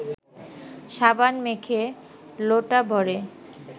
সাবান মেখে লোটা ভরে